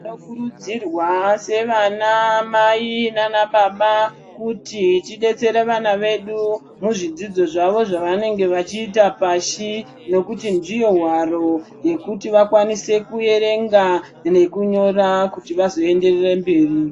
Tinokurudzirwa sevanamai naanababa kuti tidetsere vana vedu muzvidzidzo zvavo zvavanenge vachiita pashi. Nekuti ndiyo hwaro yekuti vakwanise kuerenga nekunyora kuti vazoenderere mberi.